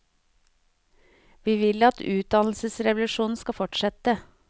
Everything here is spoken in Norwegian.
Vi vil at utdannelsesrevolusjonen skal fortsette.